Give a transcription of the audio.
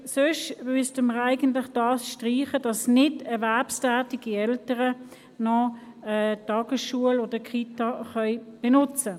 Andernfalls müssten wir es streichen, damit nicht erwerbstätige Eltern auch noch Tagesschul- oder Kita-Angebote nutzen.